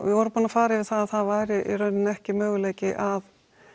við vorum búin að fara yfir það að það væri í rauninni ekki möguleiki að